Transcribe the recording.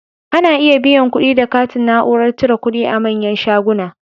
Ana iya biyan kuɗi da katin Na'urar cire kudi a manyan shuguna